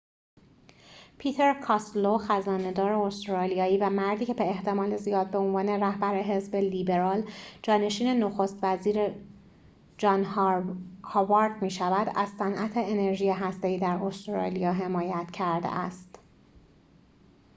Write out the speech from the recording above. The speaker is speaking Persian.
پیتر کاستلو خزانه دار استرالیایی و مردی که به احتمال زیاد به عنوان رهبر حزب لیبرال جانشین نخست وزیر جان هاوارد می‌شود از صنعت انرژی هسته ای در استرالیا حمایت کرده است